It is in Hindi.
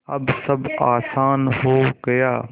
अब सब आसान हो गया